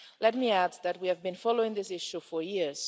Let me add that we have been following this issue for years.